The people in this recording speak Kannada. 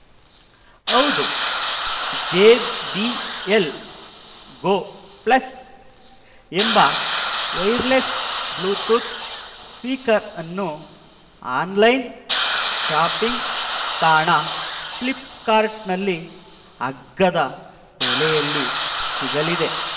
ಹೌದು ಜೆಬಿಎಲ್‌ ಗೋ ಪ್ಲಸ್‌ ಎಂಬ ವೈರ್‌ಲೆಸ್‌ ಬ್ಲೂಟೂತ್‌ ಸ್ಪೀಕರ್‌ನ್ನು ಆನ್‌ಲೈನ್‌ ಶಾಪಿಂಗ್‌ ತಾಣ ಫ್ಲಿಪ್‌ಕಾರ್ಟ್‌ನಲ್ಲಿ ಅಗ್ಗದ ಬೆಲೆಯಲ್ಲಿ ಸಿಗಲಿದೆ